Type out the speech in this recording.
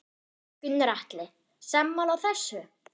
Gunnar Atli: Sammála þessu?